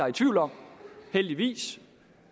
i tvivl om heldigvis